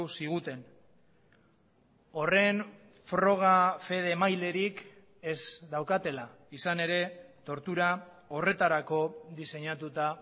ziguten horren froga fede emailerik ez daukatela izan ere tortura horretarako diseinatuta